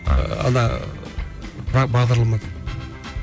ана бағдарламада